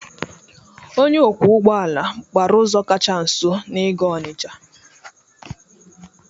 Onye ọkwọ ụgbọala gbara ụzọ kacha nso n'ịga Ọnịcha.